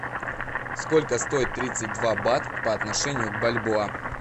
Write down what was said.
сколько стоит тридцать два бат по отношению к бальбоа